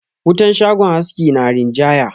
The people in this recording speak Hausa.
Wutan shagon haski na rinjaya.